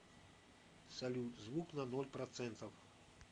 салют звук на ноль процентов